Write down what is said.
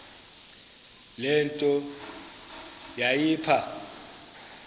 le nto yayipha